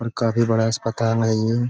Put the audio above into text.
और काफी बड़ा अस्पताल है ये --